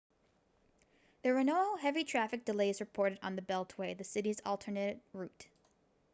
there were no heavy traffic delays reported on the beltway the city's alternate route